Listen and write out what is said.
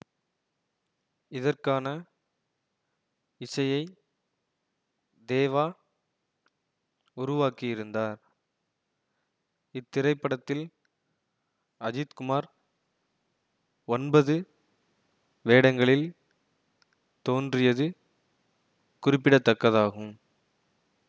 இதற்கான இசையைத் தேவா உருவாக்கியிருந்தார் இத்திரைப்டத்தில் அஜித் குமார் ஒன்பது வேடங்களில் தோன்றியது குறிப்பிடத்தக்கதாகும்